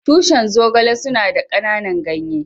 Tushin Zogale suna da kananan ganye.